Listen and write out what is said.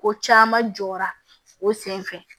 Ko caman jɔra o senfɛ